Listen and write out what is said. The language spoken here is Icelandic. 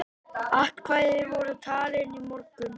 Atkvæði voru talin í morgun.